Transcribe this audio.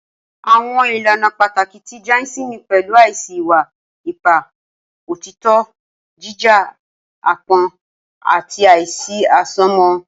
Awọn ilana pataki ti Jainism pẹlu aisi iwa-ipa, otitọ, jija, apọn, ati aisi asomọ.